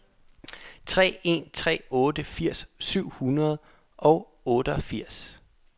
tre en tre otte firs syv hundrede og otteogfirs